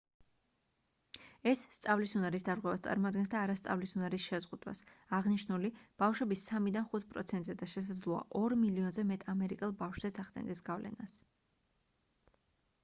ეს სწავლის უნარის დარღვევას წარმოადგენს და არა სწავლის უნარის შეზღუდვას აღნიშნული ბავშვების 3-დან 5 პროცენტზე და შესაძლოა 2 მილიონზე მეტ ამერიკელ ბავშვზეც ახდენდეს გავლენას